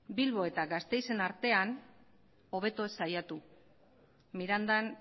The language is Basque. bilbo eta gasteizen artean hobeto ez saiatu mirandan